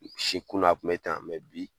kunu a kun bɛ tan mɛ bi